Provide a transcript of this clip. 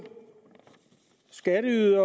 skatteyderne